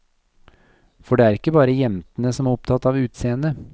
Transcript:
For det er ikke bare jentene som er opptatt av utseendet.